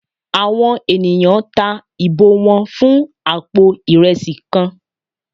Àwọn enìyan ta ibò wan fún apò iresí kán